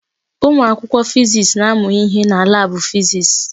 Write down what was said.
Ụmụ akwụkwọ fiziks na-amụ ihe na laabụ fiziks.